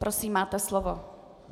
Prosím, máte slovo.